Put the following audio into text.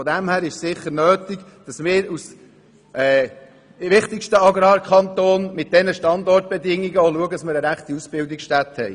Von dem her gesehen ist es sicher nötig, dass wir als wichtigster Agrarkanton mit diesen Standortbedingungen auch eine entsprechende Ausbildungsstätte besitzen.